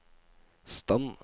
stand